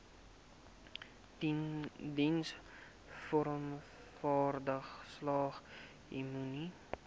diensvoorwaardesalgemene